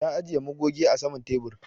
Ta ajiƴe magoge a saman teɓur.